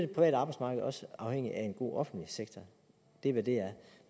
det private arbejdsmarked også afhængig af en god offentlig sektor det er hvad det er